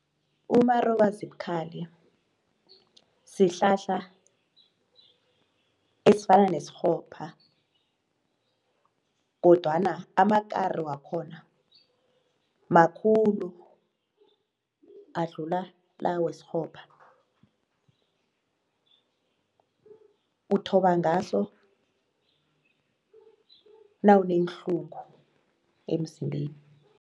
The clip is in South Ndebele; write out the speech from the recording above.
Umarobazibukhali sihlahla esifana nesikghopha kodwana amakari wakhona makhulu adlula la wesikghopha uthoba ngaso nawuneenhlungu emzimbeni.